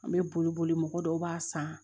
An bɛ boli boli boli mɔgɔ dɔw b'a san